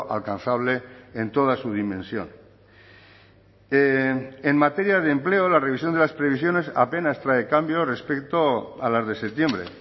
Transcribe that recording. alcanzable en toda su dimensión en materia de empleo la revisión de las previsiones apenas trae cambio respecto a las de septiembre